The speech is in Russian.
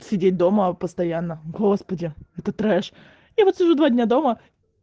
сидеть дома постоянно господи это трэш я вот уже два дня дома